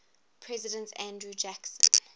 president andrew jackson